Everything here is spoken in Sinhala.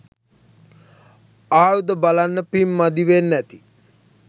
ආයුධ බලන්න පිංමදි වෙන්නැති